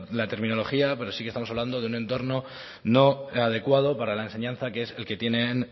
la terminología pero sí que estamos hablando de un entorno no adecuado para la enseñanza que es el que tienen